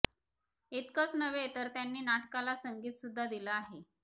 इतकंच नव्हे तर त्यांनी नाटकाला संगीतसुद्धा दिलं आहे